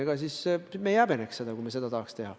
Ega me ei häbeneks seda, kui me seda tahaks teha.